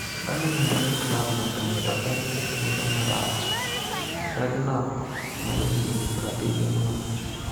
Birmingham en klab maber to en e thuolo marach'' , Rednappmajahigni 70 nowacho.